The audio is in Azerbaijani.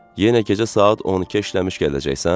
Yenə gecə saat 12-ə işləmiş gələcəksən?